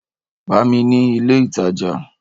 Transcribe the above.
Bá mi ni ilé ìtajà!